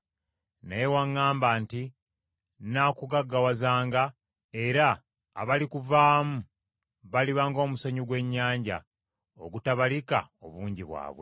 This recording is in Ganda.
Naye waŋŋamba nti, ‘Nnaakugaggawazanga, era abalikuvaamu baliba ng’omusenyu gw’ennyanja, ogutabalika obungi bwabwe.’ ”